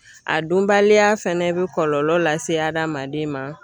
A dunbaliya fɛnɛ bɛ kɔlɔlɔ lase hadamaden ma.